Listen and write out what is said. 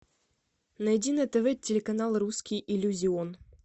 найди на тв телеканал русский иллюзион